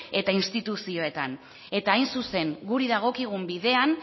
eta instituzioetan eta hain zuzen guri dagokigun bidean